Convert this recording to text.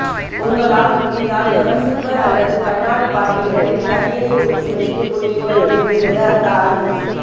உங்களால் முடிந்தால் எவர்சில்வர் அல்லது கண்ணாடி பாட்டில்களில் தண்ணீரை ஊற்றி வைத்துக் குடியுங்கள் என்கிறது அந்த ஆய்வு